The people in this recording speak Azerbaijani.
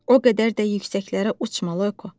O qədər də yüksəklərə uçma, Loyko.